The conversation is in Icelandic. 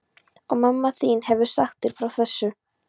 Og mamma þín hefur sagt þér frá þessu?